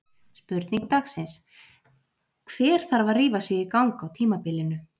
Spurning dagsins: Hver þarf að rífa sig í gang á tímabilinu?